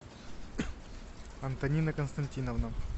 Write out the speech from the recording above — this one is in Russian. антонина константиновна